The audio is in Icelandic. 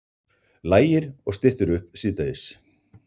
Lægir og styttir upp síðdegis